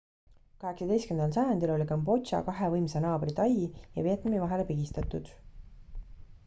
18 sajandil oli kambodža kahe võimsa naabri tai ja vietnami vahele pigistatud